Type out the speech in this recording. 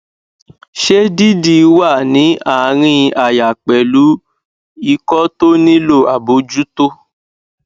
se didi wa ni arin aya pelu iko to nilo abojuto